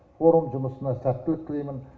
форум жұмысына сәттілік тілеймін